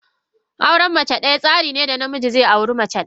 Auren mace daya tsarin ne da namiji zai auri mace daya.